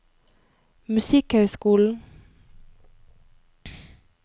musikkhøyskolen